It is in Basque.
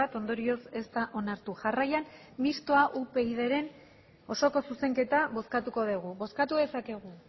ondorioz ez da onartu jarraian mistoa upydren osoko zuzenketa bozkatuko dugu bozkatu dezakegu